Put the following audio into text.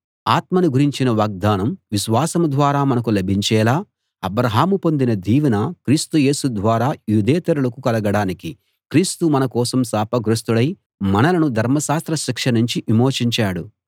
ఆత్మను గురించిన వాగ్దానం విశ్వాసం ద్వారా మనకు లభించేలా అబ్రాహాము పొందిన దీవెన క్రీస్తు యేసు ద్వారా యూదేతరులకు కలగడానికి క్రీస్తు మన కోసం శాపగ్రస్తుడై మనలను ధర్మశాస్త్ర శిక్ష నుంచి విమోచించాడు